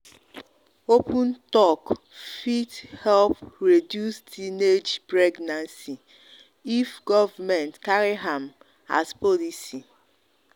open talk fit help reduce teenage help reduce teenage pregnancy if government carry am as policy.